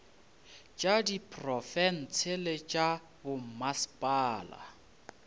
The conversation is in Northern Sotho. tša diprofense le tša bommasepala